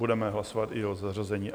Budeme hlasovat i o zařazení.